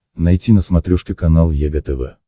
найти на смотрешке канал егэ тв